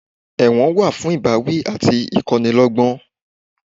Ẹ̀wọ̀n wà fún ìbáwí àti ìkọ́ni lọ́gbọ́n